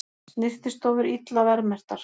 Snyrtistofur illa verðmerktar